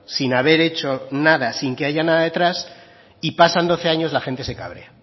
sin haber hecho nada sin que haya nada detrás y pasan doce años la gente se cabrea